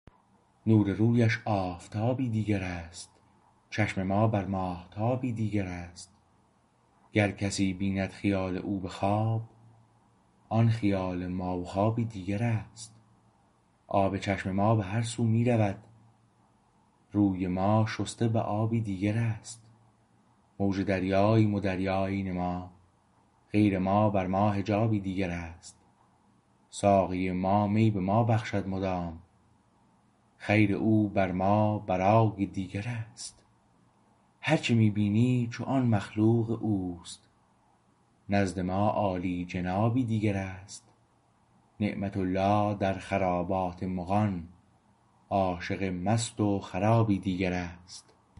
نور رویش آفتابی دیگر است چشم ما بر ماهتابی دیگر است گر کسی بیند خیال او به خواب آن خیال ما و خوابی دیگر است آب چشم ما به هر سو می رود روی ما شسته به آبی دیگر است موج دریاییم و دریا عین ما غیر ما بر ما حجابی دیگر است ساقی ما می به ما بخشد مدام خیر او بر ما برای دیگر است هرچه می بینی چو آن مخلوق اوست نزد ما عالیجنابی دیگر است نعمت الله در خرابات مغان عاشق مست و خرابی دیگر است